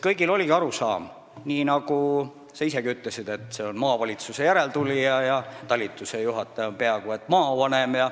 Kõigil oligi arusaam, nagu sa isegi ütlesid, et tegu on maavalitsuse järeltulijaga ja talitusejuhataja on peaaegu et maavanem.